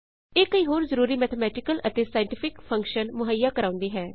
ਇਹ ਕਈ ਹੋਰ ਜ਼ਰੂਰੀ ਮੈਥੇਮੈਟਿਕਲ ਅਤੇ ਸਾਇੰਟਿਫਿਕ ਫੰਕਸ਼ਨਸ ਮੁਹੱਈਆ ਕਰਾਉਂਦੀ ਹੈ